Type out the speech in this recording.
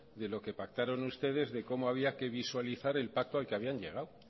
de lo que pactaron ustedes de cómo había que visualizar el pacto al que habían llegado